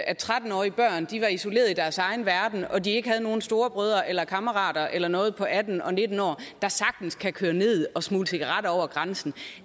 at tretten årige børn var isolerede i deres egen verden og de ikke havde nogen storebrødre eller kammerater eller noget på atten eller nitten år der sagtens kan køre ned og smugle cigaretter over grænsen